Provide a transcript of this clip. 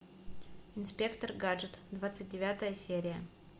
инспектор гаджет двадцать девятая серия